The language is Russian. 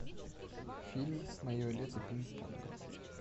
фильм мое лето пинг понга